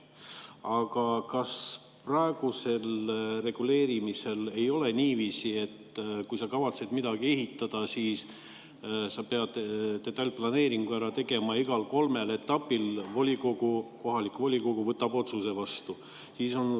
Aga kas praegusel reguleerimisel ei ole niiviisi, et kui sa kavatsed midagi ehitada, siis sa pead detailplaneeringu ära tegema ja igal kolmel etapil kohalik volikogu võtab otsuse vastu?